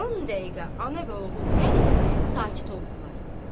On dəqiqə ana və oğul hər ikisi sakit oldular.